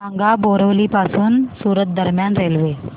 सांगा बोरिवली पासून सूरत दरम्यान रेल्वे